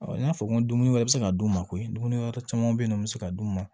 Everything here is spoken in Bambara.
n y'a fɔ n ko dumuni wɛrɛ bɛ se ka d'u ma ko dumuni wɛrɛ caman be yen nɔ mi se ka d'u ma